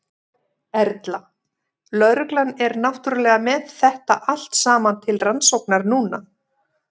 Erla: Lögreglan er náttúrulega með þetta allt saman til rannsóknar núna?